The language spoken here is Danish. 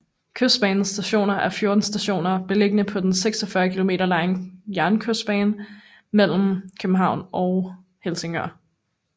Kystbanens stationer er 14 stationer beliggende på den 46 km lange jernbane Kystbanen mellem København og Helsingør